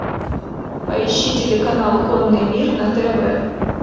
поищи телеканал конный мир на тв